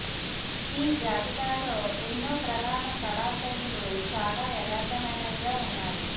ఈ జాబితాలో ఎన్నో ప్రధాన కళా శైలులు చాలా యదార్ధమైనవిగా ఉన్నాయి